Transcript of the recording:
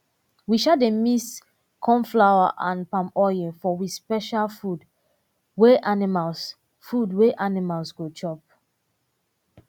we um dey mix corn flour and palm oil for di special food wey animals food wey animals go chop